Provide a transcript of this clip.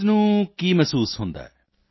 ਮਰੀਜ਼ ਨੂੰ ਕੀ ਮਹਿਸੂਸ ਹੁੰਦਾ ਹੈ